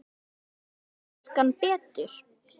Skilst enskan betur?